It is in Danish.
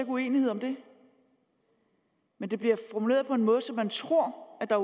uenighed om det men det bliver formuleret på en måde så man tror at der